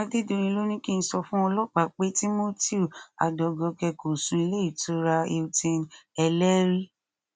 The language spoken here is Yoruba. adédọyìn ló ní kí n sọ fún ọlọpàá pé timothy adọgọkẹ kò sùn sílé ìtura hilton ẹlẹrìí